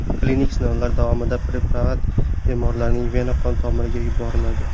Klinik sinovlar davomida preparat bemorlarning vena qon tomiriga yuboriladi.